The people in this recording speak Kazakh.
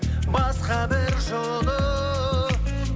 басқа бір жолы